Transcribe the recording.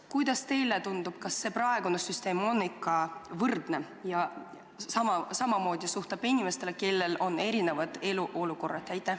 Kuidas teile tundub, kas praegune süsteem tagab ikka võrdsuse ja suhtub ühtmoodi inimestesse, kellel on erinevad elu olukorrad?